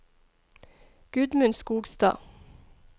Gudmund Skogstad